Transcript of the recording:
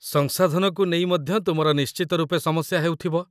ସଂସାଧନକୁ ନେଇ ମଧ୍ୟ ତୁମର ନିଶ୍ଚିତ ରୂପେ ସମସ୍ୟା ହେଉଥିବ।